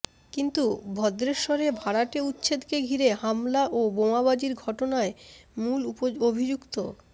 কিন্তু ভদ্রেশ্বরে ভাড়াটে উচ্ছেদকে ঘিরে হামলা ও বোমাবাজির ঘটনায় মূল অভিযুক্ত